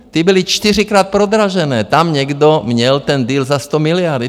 Ty byly čtyřikrát prodražené, tam někdo měl ten deal za 100 miliard.